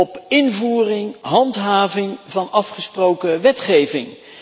op invoering en handhaving van afgesproken wetgeving.